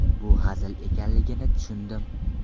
Bu hazil ekanligini tushundim.